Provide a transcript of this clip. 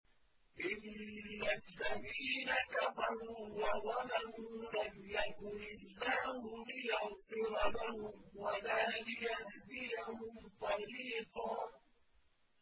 إِنَّ الَّذِينَ كَفَرُوا وَظَلَمُوا لَمْ يَكُنِ اللَّهُ لِيَغْفِرَ لَهُمْ وَلَا لِيَهْدِيَهُمْ طَرِيقًا